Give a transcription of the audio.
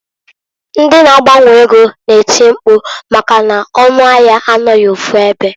Ndi na -agbanwe ego na-eti mpku maka n'ọnụ ahịa anọghị ofu ebe.